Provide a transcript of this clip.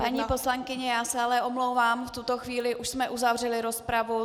Paní poslankyně, já se ale omlouvám, v tuto chvíli už jsme uzavřeli rozpravu.